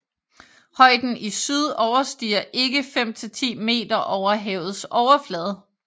Højden i syd overstiger ikke 5 til 10 meter over havets overflade